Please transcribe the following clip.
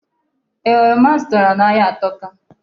Ee, oroma m zụtara n'ahịa atọka.